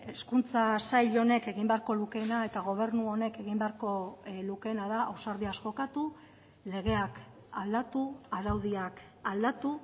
hezkuntza sail honek egin beharko lukeena eta gobernu honek egin beharko lukeena da ausardiaz jokatu legeak aldatu araudiak aldatu